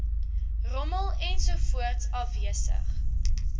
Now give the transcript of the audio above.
rommel ensovoorts afwesig